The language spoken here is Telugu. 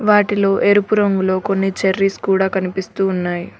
వాటిలో ఎరుపు రంగులో కొన్ని చెర్రీస్ కూడా కనిపిస్తూ ఉన్నాయి.